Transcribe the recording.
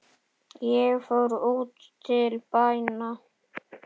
Ég fór út til bæna.